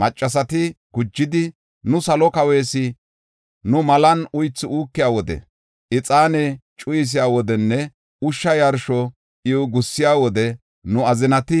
Maccasati gujidi, “Nu Salo Kawees malan uythu uukiya wode, ixaane cuyisiya wodenne ushsha yarsho iw gussiya wode nu azinati